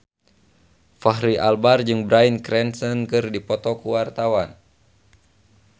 Fachri Albar jeung Bryan Cranston keur dipoto ku wartawan